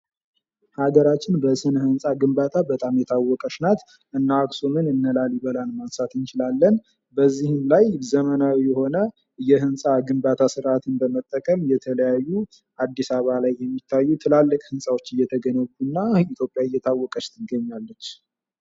ሀገራችን በስነ-ህንጻ ግንባታ በጣም የታወቀች ናት። እነ አክሱምን እነ ላሊበላን ማንሳት እንችላለን። በዙም ላይ ዘመናዊ የሆነ የህንጻ ግንባታ ስርዓትን በመከተል የተለያዩ አዲስ አበባ የሚታዩ ትላልቅ ህንጻዎች እየተገነቡን ኢትዮጵያ እየታወቀች ትገኛለች።